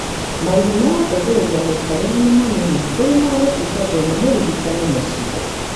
Marĩhi ma gũteithĩrĩrio mũikarĩre nĩ manĩnĩ kũrĩ ma gũtugato nĩ mũrigitani mũcie.